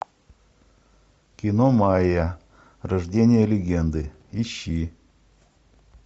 кино майя рождение легенды ищи